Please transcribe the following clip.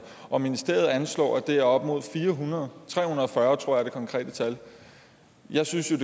og ministeriet anslår at det er op mod fire hundrede tre hundrede og fyrre tror jeg er det konkrete tal jeg synes jo